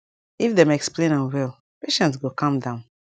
if dem explain am well patient go calm down